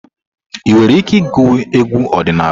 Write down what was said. Ị nwere ike ịgụ egwu ọdịnala?